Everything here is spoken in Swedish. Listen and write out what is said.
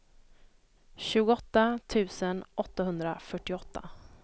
tjugoåtta tusen åttahundrafyrtioåtta